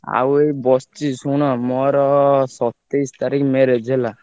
ଆଉ ଏଇ ବସିଛି ଶୁଣ ମୋର ସତେଇଶ ତାରିଖ marriage ହେଲା।